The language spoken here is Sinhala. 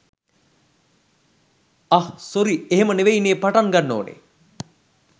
අහ් සොරි එහෙම නෙවෙයිනේ පටන් ගන්න ඕනේ